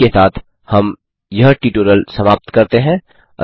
इसी के साथ हम यह ट्यूटोरियल समाप्त करते हैं